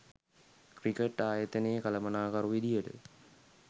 cricket ආයතනයේ කළමනාකරු විදියට